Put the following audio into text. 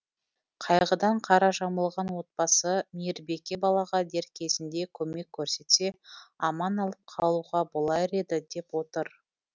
қайғыдан қара жамылған отбасы мейірбике балаға дер кезінде көмек көрсетсе аман алып қалуға болар еді деп отыр